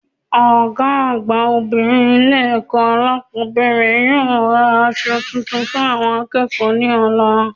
Ògá àgbà obìnrin Ilé èkó alákòbéèrè yóò ra aso tuntun fún àwon akéèkó ní òla